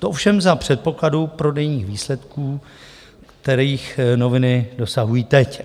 To ovšem za předpokladu prodejních výsledků, kterých noviny dosahují teď.